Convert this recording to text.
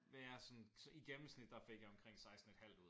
Ja sådan så i gennemsnit der fik jeg omkring 16 et halvt ud